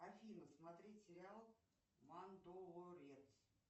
афина смотреть сериал мандолорец